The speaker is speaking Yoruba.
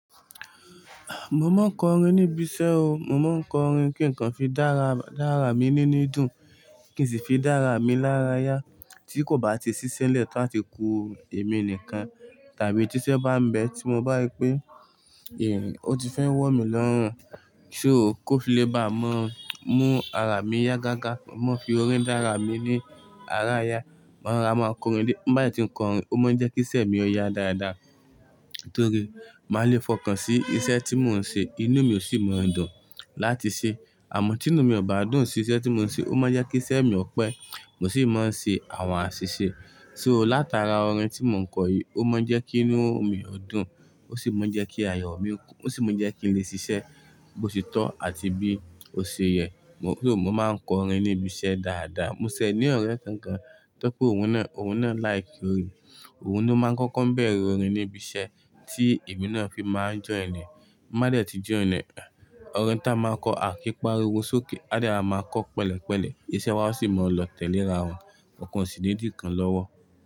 Mo máa ń kọrin níbi iṣẹ́ o. Mo máa ń kọrin kí nǹkan fi dára, dára mi nínú ìdùn, kì í sì fi dára mi lára yá tí kò bá ti ṣiṣẹ́ lẹ̀ tán ti ku èmi nìkan tàbí tíṣẹ́ bá ń bẹ tí mo bá rí pé irin ò tí fẹ́ wọ̀ mí lọ́rùn. Ṣó ko fi lè bá mọ mú ara mi yá gágá. Mo fi orin dára mi ní ara ya. Mo máa rora, máa kọrin dié. M bá dẹ tí ń kọrin, ó máa ń jẹ́ kíṣẹ́ mi ó yá dáadáa torí máa le fọkàn sí iṣẹ́ tí mò ń ṣe. Inú mi ò sì máa ń dùn láti ṣe. Àmọ́ tí inú mi ò bá dùn sí iṣẹ́ tí mò ń ṣe, ó máa jẹ́ kí iṣẹ́ mi ó pẹ́, mo sì máa ń ṣe àwọn àṣìṣe. Ṣó látara orin tí mò ń kọ yìí, ó máa ń jẹ́ kí inú mi o dùn, ó sì máa ń jẹ́ kí ayọ̀ mi kún, ó sì máa ń jẹ́ kí n lè ṣiṣẹ́ bó ti tọ́ àti bí ó ṣe yẹ. Mo so, mo máa ń kọrin níbi iṣẹ́ dáadáa. Mo ṣẹ ní ọ̀rẹ́ kan gan to pé òun náà, òun náà like orin. Òun ló máa ń kọ́kọ́ ń bẹ̀rẹ̀ orin níbi iṣẹ́ tí èmi náà fi máa ń join ẹ. M ba dẹ̀ tí join ẹ, orin ta a máa ń kọ àkíī páriwo sókè. Á dẹ rora máa kọ́ pẹ̀lẹ̀ pẹ̀lẹ̀. Iṣẹ́ wa sì máa lọ tẹ́le ra wọn. Ọ̀kan ò sì ní dì kan lọ́wọ́.